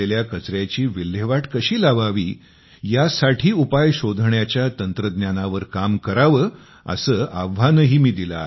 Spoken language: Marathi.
कचयाची विल्हेवाट कशी लावावी यासाठी उपाय शोधण्याच्या तंत्रज्ञानावर काम करावे असे आव्हानही मी दिले आहे